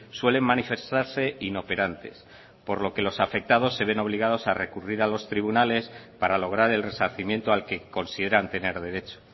suelen manifestarse inoperantes por lo que los afectados se ven obligados a recurrir a los tribunales para lograr el resarcimiento al que consideran tener derecho